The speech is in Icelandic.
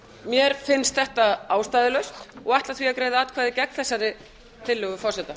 mér finnst þetta ástæðulaust og ætla því að greiða atkvæði gegn þessari tillögu forseta